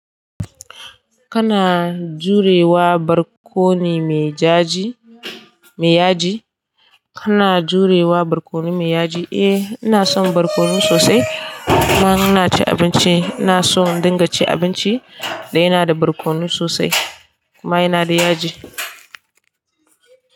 Kana jurewa barkono me yaji? Kana jurewa barkono me yaji? Eh ina son barkono sosai. Kuma in ina cin abinci. Ina son in dinga cin abinci da yana da barkono sosai kuma yana da yaji.